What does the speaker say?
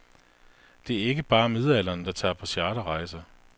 Det er ikke bare midaldrende, der tager på charterrejser.